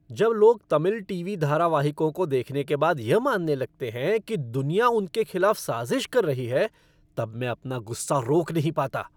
जब लोग तमिल टीवी धारावाहिकों को देखने के बाद यह मानने लगते हैं कि दुनिया उनके खिलाफ़ साज़िश कर रही है तब मैं अपना गुस्सा रोक नहीं पाता।